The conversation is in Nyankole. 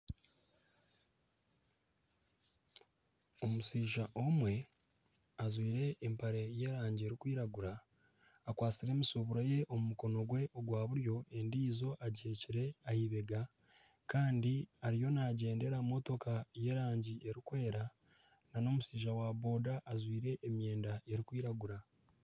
Omushaija omwe ajwaire empare y'erangi erikwiragura, akwastire emishuburo ye omu mukono gwe ogwa buryo endiijo agiheekire aha eibega. Kandi ariyo naagyendera aha motoka y'erangi erikwera n'omushaija wa boda ajwaire emyenda erikwiragura.